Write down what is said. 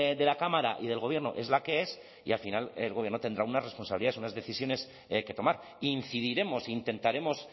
de la cámara y del gobierno es la que es y al final el gobierno tendrá una responsabilidad unas decisiones que tomar incidiremos intentaremos